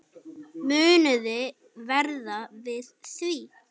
Muniði verða við því?